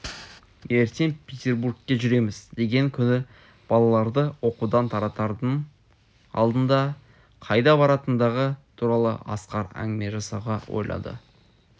ертең петербургке жүреміз деген күні балаларды оқудан таратардың алдында қайда баратындығы туралы асқар әңгіме жасауға ойлады